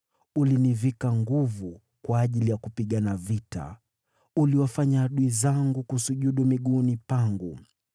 Ulinivika nguvu kwa ajili ya kupigana vita; uliwafanya adui zangu wasujudu miguuni pangu.